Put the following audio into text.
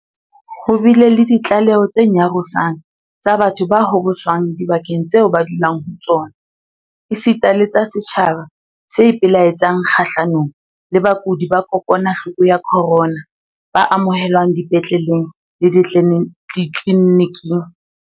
Ho bile le ditlaleho tse nyarosang tsa batho ba hoboswang dibakeng tseo ba dulang ho tsona, esita le tsa setjhaba se ipelaetsang kgahlanong le bakudi ba kokwanahloko ya corona ba amohelwang dipetleleng le ditleli-niking.